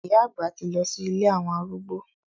Ìyá àgbà ti lọ sí ilé àwọn arúgbó.